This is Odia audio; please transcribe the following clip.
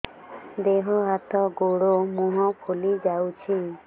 ଦେହ ହାତ ଗୋଡୋ ମୁହଁ ଫୁଲି ଯାଉଛି